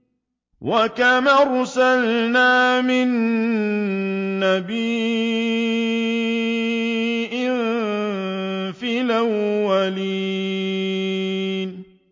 وَكَمْ أَرْسَلْنَا مِن نَّبِيٍّ فِي الْأَوَّلِينَ